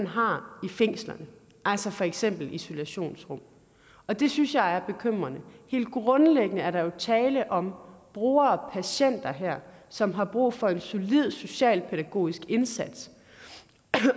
har i fængslerne altså for eksempel isolationsrum og det synes jeg er bekymrende helt grundlæggende er der jo tale om brugere og patienter her som har brug for en solid socialpædagogisk indsats